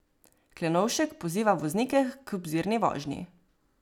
Klenovšek poziva voznike k obzirni vožnji.